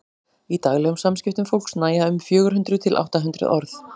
í daglegum samskiptum fólks nægja um fjögur hundruð til átta hundruð orð